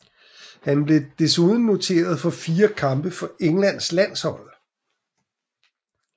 Han blev desuden noteret for fire kampe for Englands landshold